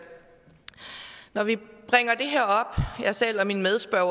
når vi jeg selv og min medspørger